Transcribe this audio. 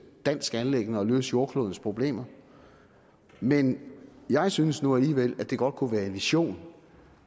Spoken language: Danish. dansk anliggende at løse jordklodens problemer men jeg synes nu alligevel at det godt kunne være en vision